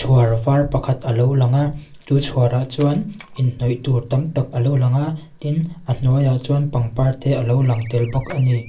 chhuar vâr pakhat a lo lang a chu chhuarah chuan inhnawih tûr tam tak a lo lang a tin a hnuaiah chuan pangpar te a lo lang tel bawk a ni.